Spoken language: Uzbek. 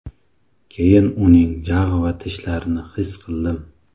Keyin uning jag‘ va tishlarini his qildim.